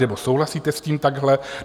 Nebo souhlasíte s tím takhle?